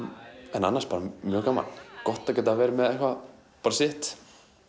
en annars bara mjög gaman gott að geta verið með sitt